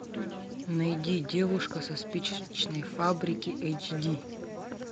найди девушка со спичечной фабрики эйч ди